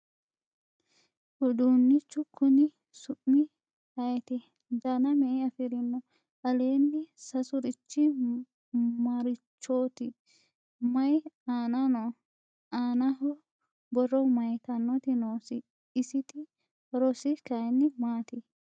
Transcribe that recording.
Uduunichu konni su'mi ayiitti ? Danna me'e afirinno ? Aleenni sasurichi marichooti ? Mayii aanna nooho ? Aannaho borro mayiittanotti noosi? Isitti horossi kayiinni maatti ?